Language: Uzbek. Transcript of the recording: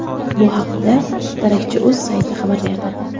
Bu haqda darakchi.uz sayti xabar berdi.